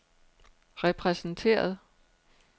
repræsenteret